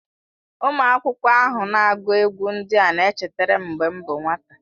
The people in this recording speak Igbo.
Ụmụ akwụkwọ ahụ na-agụ egwú ndị na-echetara m mgbe m bụ nwata.